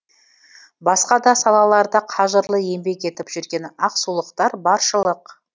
басқа да салаларда қажырлы еңбек етіп жүрген ақсулықтар баршылық